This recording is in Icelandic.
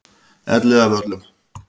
Elliðavöllum